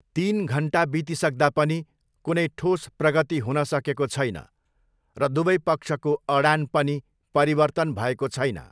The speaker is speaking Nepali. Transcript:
तिन घन्टा बितिसक्दा पनि कुनै ठोस प्रगति हुन सकेको छैन र दुवै पक्षको अडान पनि परिवर्तन भएको छैन।